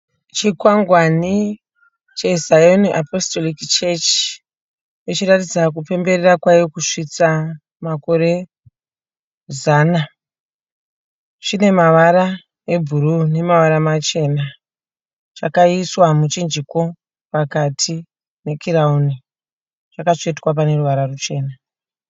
Chikwangwani cheZion Apostolic Church ichiratidza kupemberera kwayo kusvitsa makore zana. Chine mavara ebhuruu nemavara machena. Chakaiswa muchinjiko pakati nekirawuni. Chakatsvetwa pane ruvara ruchena.